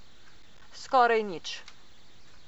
Skoraj nič.